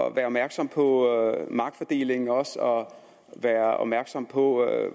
at være opmærksom på magtfordelingen og være opmærksom på